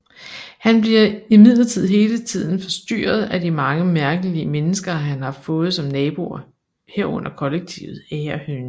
Han bliver imidlertid hele tiden forstyrret af de mange mærkelige mennesker han har fået som naboer herunder kollektivet Agerhønen